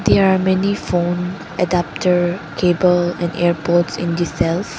There are many phone adaptor cable and airpods in the shelves.